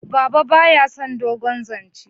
baba ba ya son dogon zance